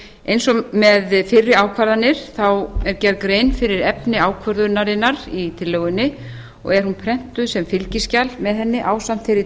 eins og með fyrri ákvarðanir er gerð grein fyrir efni ákvörðunarinnar í tillögunni og er hún prentuð sem fylgiskjal með henni ásamt fyrri